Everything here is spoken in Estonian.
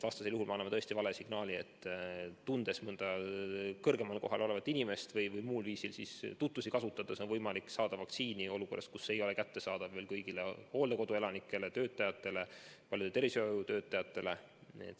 Vastasel juhul me andnuks vale signaali, et tundes mõnda kõrgemal kohal olevat inimest või muul viisil tutvusi kasutades on võimalik saada vaktsiini ka olukorras, kus see ei ole veel kättesaadav kõigile hooldekoduelanikele ja -töötajatele ning paljudele tervishoiutöötajatele.